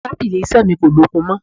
Tábìlì iṣẹ́ mi kò lókun mọ́.